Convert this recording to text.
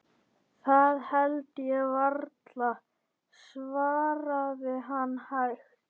Það held ég varla, svaraði hann hægt.